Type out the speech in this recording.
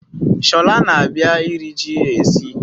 Shola na-abia iri ji esi